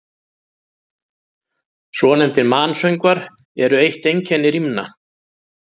Svonefndir mansöngvar eru eitt einkenni rímna.